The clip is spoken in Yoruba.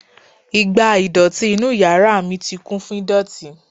Igbá ìdọ̀tí inú yàrá mi ti kún fún ìdọ̀tí.